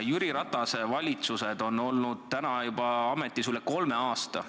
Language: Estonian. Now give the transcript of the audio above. Jüri Ratase valitsused on olnud ametis üle kolme aasta.